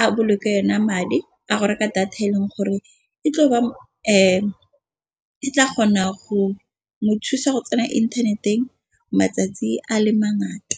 a boloke yona madi a go reka data e leng gore e tlo ba tla kgona go mo thusa go tsena inthaneteng matsatsi a le mangata.